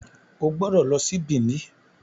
o gbódò ló sì Benin.